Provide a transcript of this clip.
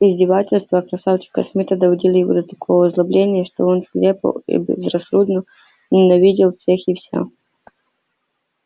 издевательства красавчика смита доводили его до такого озлобления что он слепо и безрассудно ненавидел всех и вся